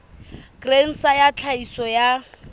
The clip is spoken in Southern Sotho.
grain sa ya tlhahiso ya